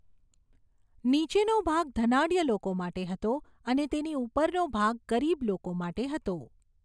નીચેનો ભાગ ધનાઢ્ય લોકો માટે હતો અને તેની ઉપરનો ભાગ ગરીબ લોકો માટે હતો.